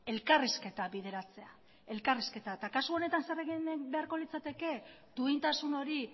elkarrizketa bideratzea elkarrizketa eta kasu honetan zer egin beharko litzateke duintasun hori